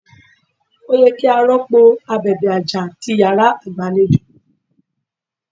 Ó yẹ kí a rọ́pò abèbè àjà ti Ìyàrá igbalejo.